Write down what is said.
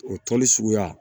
O tɔnni suguya